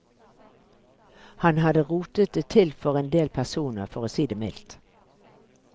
Han hadde rotet det til for en del personer, for å si det mildt.